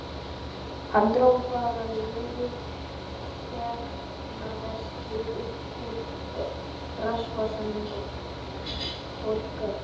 Hann dró bara lúið seðlaveski uppúr rassvasanum og borgaði.